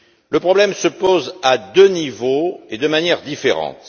Le problème se pose à deux niveaux et de manières différentes.